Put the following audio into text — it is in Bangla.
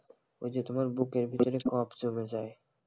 ওই যে তোমার বুকের ভিতরে cough জমে যায়,